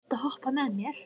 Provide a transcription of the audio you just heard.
Páll, viltu hoppa með mér?